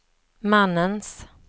mannens